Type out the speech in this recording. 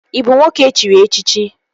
Ị bụ nwoke e chiri echichi?